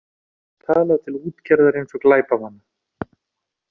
Talað til útgerðar eins og glæpamanna